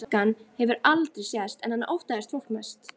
Slangan hefur heldur aldrei sést, en hana óttaðist fólk mest.